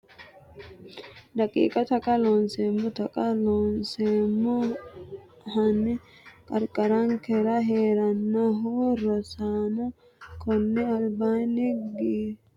daqiiqa Taqa Loonseemmo Taqa Looseemmo a Hanni qarqarinkera hee’ranohu Rosaano konni albaanni giraafete hornyaamu rosichi maatiro kulannoehu qiniishshi giddo worre sa’nummore ayeeti?